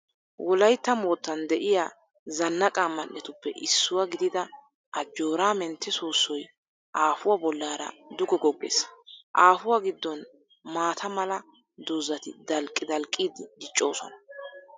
Wolaytta moottan de'iyaa zannaqa man'etuppe issuwaa gidida ajoora mentte soossoy aafuwaa bollaara duge goggees. Aafuwaa giddon maata mala doozzati dalqqi dalqqidi diccoosona